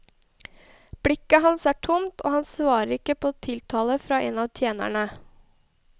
Blikket hans er tomt og han svarer ikke på tiltale fra en av tjenerene.